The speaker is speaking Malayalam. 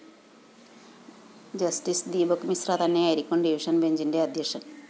ജസ്റ്റിസ്‌ ദീപക് മിശ്ര തന്നെയായിരിക്കും ഡിവിഷൻ ബെഞ്ചിന്‍റെ അധ്യക്ഷന്‍